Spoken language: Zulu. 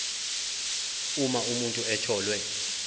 uma umuntu etholwe